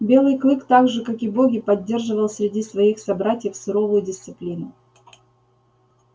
белый клык так же как и боги поддерживал среди своих собратьев суровую дисциплину